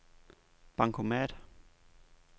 bankomat